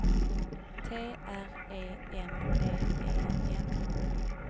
T R E N D E N